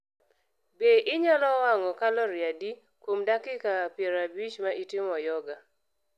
Be anyalo wang�o kalori adi kuom dakika piero abich ma atimo yoga?